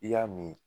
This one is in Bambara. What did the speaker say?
I y'a min